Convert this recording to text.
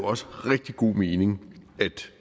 også rigtig god mening